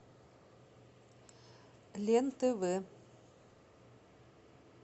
лен тв